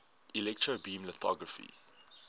electron beam lithography